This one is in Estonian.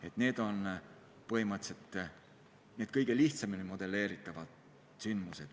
Niisugused on põhimõtteliselt kõige lihtsamini modelleeritavad sündmused.